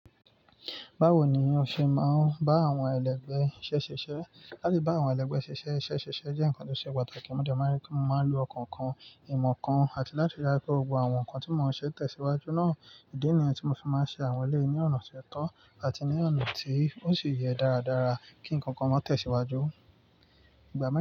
Báwo ni o ṣe máa ń bá àwọn ẹlẹgbẹ́ iṣẹ́ ṣiṣẹ́? Láti bá àwọn ẹlẹgbẹ́ ṣiṣẹ́, ṣiṣẹ́ jẹ́ ǹkan tó ṣe pàtàkì, mo dẹ máa ri pe mo maa ń lo ọkàn kan, ìmọ̀ kan àti láti ríi dáju wipé gbogbo àwọn nǹkan tí mò ń ṣe tẹ̀síwájú náà, ìdí nìyẹn tí mo fi máa ń ṣe àwọn eleyi ní ọ̀nà ti ó tọ́ àti ní ọ̀nà tí ó sì yẹ dáradára kí nnkan kan má tẹ̀síwájú. Ìgbá.